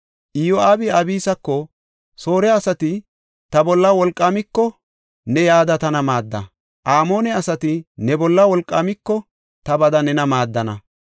Iyo7aabi Abisako, “Soore asati ta bolla wolqaamiko ne yada tana maadda; Amoone asati ne bolla wolqaamiko ta bada nena maaddana.